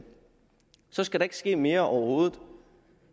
så skal der ikke ske mere overhovedet